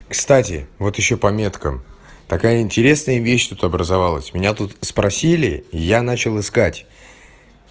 кстати вот ещё по меткам такая интересная вещь тут образовалась у меня тут спросили и я начал искать